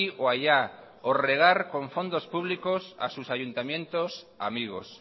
o allá o regar con fondos públicos a sus ayuntamientos amigos